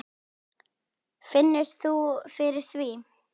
Finnur þú fyrir því?